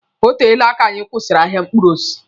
O teele aka anyi kwụsịrị ahịa mkpụrụ osisi.